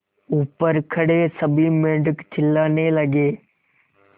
ऊपर खड़े सभी मेढक चिल्लाने लगे